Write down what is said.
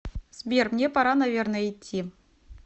сбер мне пора наверное идти